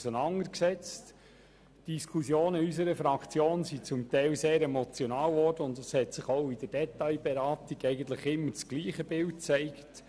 Unsere Diskussionen waren zum Teil sehr emotional und auch bei den Detailberatungen hat sich dasselbe Bild immer wieder gezeigt.